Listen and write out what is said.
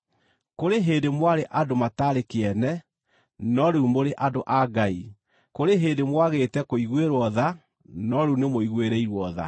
Kũrĩ hĩndĩ mwarĩ andũ mataarĩ kĩene, no rĩu mũrĩ andũ a Ngai; kũrĩ hĩndĩ mwaagĩte kũiguĩrwo tha, no rĩu nĩmũiguĩrĩirwo tha.